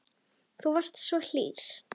Þú varst svo hlýr.